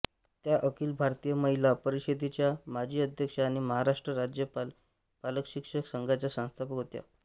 त्या अखिल भारतीय महिला परिषदेच्या माजी अध्यक्ष आणि महाराष्ट्र राज्य पालकशिक्षक संघाच्या संस्थापक होत्या